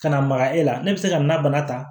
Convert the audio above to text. Ka na maga e la ne bɛ se ka na bana ta